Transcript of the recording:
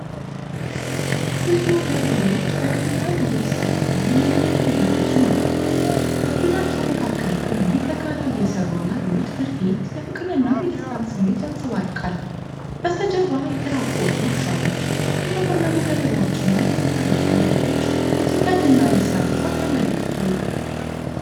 ብዙ ገበሬዎች በቀላል ልብስ ተጠቅመው መሬቱን እያረሱ ነው። በቡድናቸው መካከል ቆመው በጋራ እየሰሩ ያሉት ድርጊት የፍቅርን እና የደስታን ስሜት ያንጸባርቃል። በስተጀርባ የተራቆቱ እርሻዎች፣ የተቆለሉ ገለባዎችና የተጠረዙ መሬቶች የጭንቀት እና የሥራ ብዛት ያመለክታሉ።